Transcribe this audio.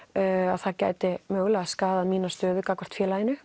að það gæti skaðað mína stöðu gagnvart félaginu